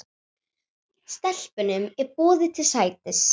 Stelpunum er boðið til sætis.